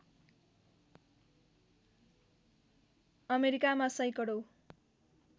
अमेरिकामा सैकडौँ